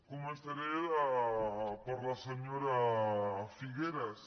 començaré per la senyora figueras